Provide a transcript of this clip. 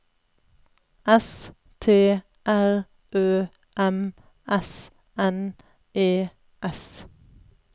S T R Ø M S N E S